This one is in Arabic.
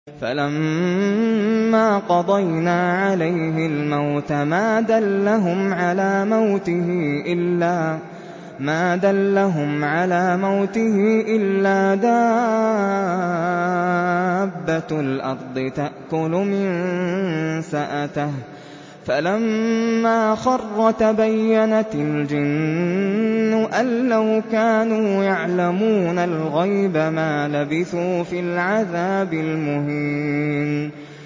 فَلَمَّا قَضَيْنَا عَلَيْهِ الْمَوْتَ مَا دَلَّهُمْ عَلَىٰ مَوْتِهِ إِلَّا دَابَّةُ الْأَرْضِ تَأْكُلُ مِنسَأَتَهُ ۖ فَلَمَّا خَرَّ تَبَيَّنَتِ الْجِنُّ أَن لَّوْ كَانُوا يَعْلَمُونَ الْغَيْبَ مَا لَبِثُوا فِي الْعَذَابِ الْمُهِينِ